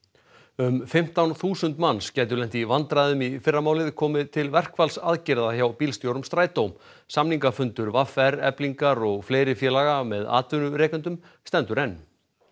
um fimmtán þúsund manns gætu lent í vandræðum í fyrramálið komi til verkfallsaðgerða hjá bílstjórum Strætós samningafundur v r Eflingar og fleiri félaga með atvinnurekendum stendur enn